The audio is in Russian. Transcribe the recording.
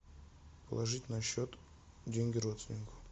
положить на счет деньги родственнику